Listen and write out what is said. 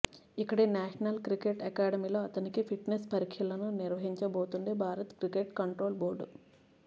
ఇక్కడి national cricket అకాడమీలో అతనికి ఫిట్నెస్ పరీక్షలను నిర్వహించబోతోంది భారత క్రికెట్ కంట్రోల్ బోర్డు